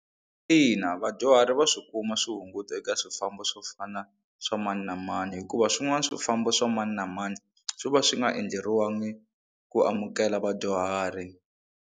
Ina vadyuhari va swihunguto eka swifambo swo fana swa mani na mani hikuva swin'wana swifambo swa mani na mani swi va swi nga endleriwangi ku amukela vadyuhari.